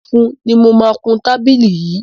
Funfun ni mo máa kun tábìlì yìí.